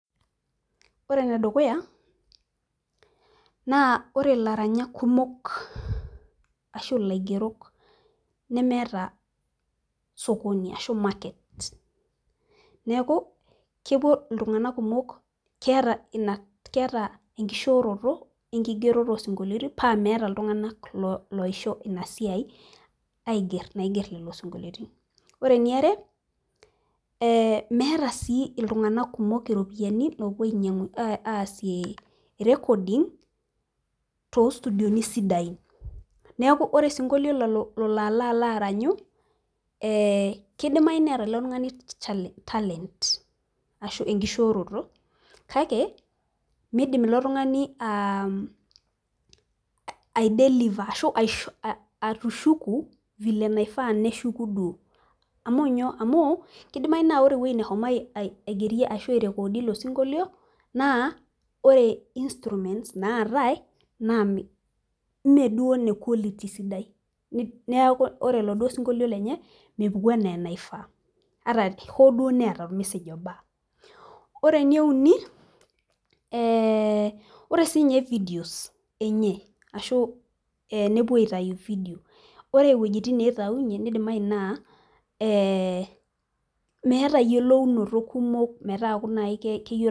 ore enedukuya naa ore ilaranyak kumok nemeta osokoni ashu maket neeku kepuo iltunganak , ketaa enkishoroto paa meeta iltunganak oisho esiai, ore eniare meeta sii iltunganak kumok iropiyiani napuo asie rekodi too situdioni siidain neeku kidimayu neeta ilo tungani talent kake midim ilotungani atushuku vile naifaa neshuku, amu kidimayu naa ore eweji neshomo naa kidimayu naa ore instruments ,naatae naa meduo inekualiti sidai ore sii enkae ore eweji nepuo aitainyie vidio meeta eyiolounoto ajo keyieu naaji.